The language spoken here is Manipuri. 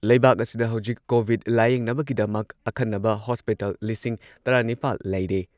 ꯂꯩꯕꯥꯛ ꯑꯁꯤꯗ ꯍꯧꯖꯤꯛ ꯀꯣꯚꯤꯗ ꯂꯥꯌꯦꯡꯅꯕꯒꯤꯗꯃꯛ ꯑꯈꯟꯅꯕ ꯍꯣꯁꯄꯤꯇꯥꯜ ꯂꯤꯁꯤꯡ ꯇꯔꯥ ꯅꯤꯄꯥꯜ ꯂꯩꯔꯦ ꯫